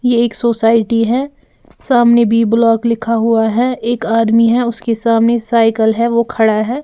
यह एक सोसाइटी है सामने बी_ ब्लॉक लिखा हुआ है एक आदमी है उसके सामने साइकिल है वो खड़ा है।